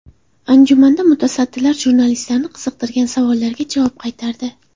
Anjumanda mutasaddilar jurnalistlarni qiziqtirgan savollarga javob qaytardi.